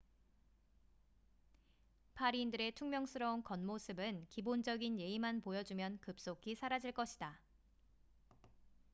파리인들의 퉁명스러운 겉모습은 기본적인 예의만 보여주면 급속히 사라질 것이다